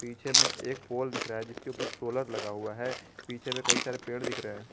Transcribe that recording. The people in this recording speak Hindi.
पीछे में एक पोल दिख रहा है जिसके ऊपर सोलर लगा हुआ है पीछे में कई सारे पेड़ दिख रहे--